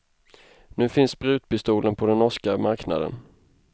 Nu finns sprutpistolen på den norska marknaden.